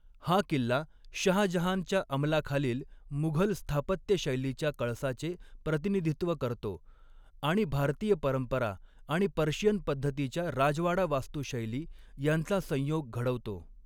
हा किल्ला शहाजहानच्या अमलाखालील मुघल स्थापत्यशैलीच्या कळसाचे प्रतिनिधित्व करतो आणि भारतीय परंपरा आणि पर्शियन पद्धतीच्या राजवाडा वास्तुशैली यांचा संयोग घडवतो.